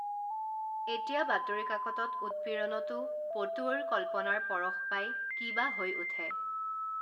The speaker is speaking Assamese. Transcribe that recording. এতিয়া বাতৰি কাকতত উৎপীড়নতো পটুৱৈৰ কল্পনাৰ পৰশ পাই কি বা হৈ উঠে